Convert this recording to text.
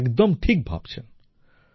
আপনি একদম ঠিক ভাবছেন